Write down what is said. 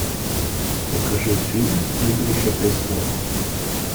покажи фильм игрища престолов